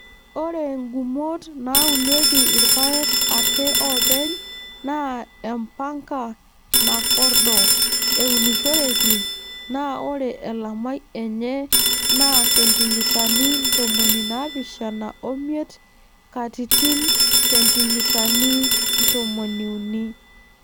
Ore ngumot naaunieki irpaek ake oopeny naa empanka nakordo eunishoreki naa ore elamai enye naa sentimitani ntomoni naapishana omiet katitin sentimitani tomoniuni.